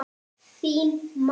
Þín, mamma.